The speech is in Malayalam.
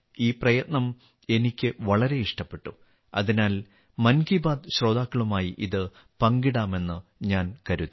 ഈ പ്രയത്നം എനിക്ക് വളരെ ഇഷ്ടപ്പെട്ടു അതിനാൽ മൻ കി ബാത്ത് ശ്രോതാക്കളുമായി ഇത് പങ്കിടാമെന്നു ഞാൻ കരുതി